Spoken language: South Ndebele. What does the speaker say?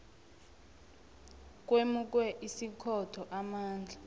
kwemukwe ikhotho amandla